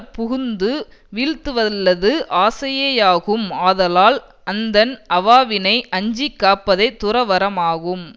புகுந்து வீழ்த்துவல்லது ஆசையேயாகும் ஆதலால் அந்தண் அவாவினை அஞ்சிக் காப்பதே துறவறமாகும்